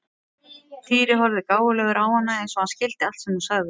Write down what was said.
Týri horfði gáfulegur á hana eins og hann skildi allt sem hún sagði.